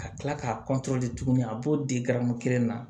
Ka kila k'a tuguni a b'o di garamu kelen na